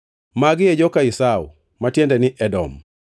Magi e joka Esau (ma tiende ni Edom).